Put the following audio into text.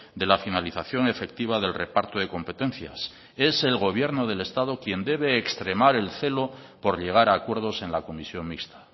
de la finalización efectiva del reparto de competencias es el gobierno del estado quien debe extremar el celo por llegar a acuerdos en la comisión mixta